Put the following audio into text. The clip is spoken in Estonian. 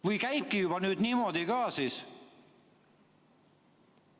Või käibki juba nüüd niimoodi ka?